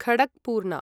Khadakpurna